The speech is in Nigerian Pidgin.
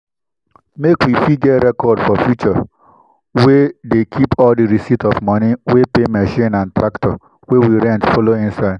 make we fit get record for future we dey keep all di receipt of moni we pay machine and tractor wey we rent follow inside.